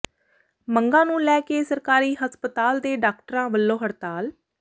ਮੰਗਾਂ ਨੂੰ ਲੈ ਕੇ ਸਰਕਾਰੀ ਹਸਪਤਾਲ ਦੇ ਡਾਕਟਰਾਂ ਵਲੋਂ ਹੜਤਾਲ